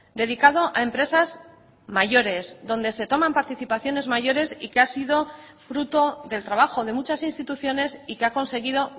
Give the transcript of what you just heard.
dedicado a empresas mayores donde se toman participaciones mayores y que ha sido fruto del trabajo de muchas instituciones y que ha conseguido